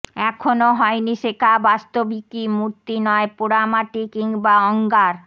এখনো হয়নি শেখা বাস্তবিকই মূর্তি নয় পোড়ামাটি কিংবা অঙ্গার